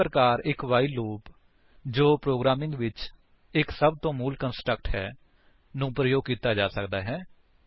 ਇਸ ਪ੍ਰਕਾਰ ਇੱਕ ਵਾਈਲ ਲੂਪ ਜੋ ਪ੍ਰੋਗਰਾਮਿੰਗ ਵਿੱਚ ਇੱਕ ਸਭਤੋਂ ਮੂਲ ਕੰਸਟਰਕਟਸ ਹੈ ਪ੍ਰਯੋਗ ਕੀਤਾ ਜਾ ਸਕਦਾ ਹੈ